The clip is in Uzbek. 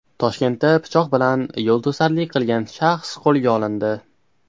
Toshkentda pichoq bilan yo‘lto‘sarlik qilgan shaxs qo‘lga olindi.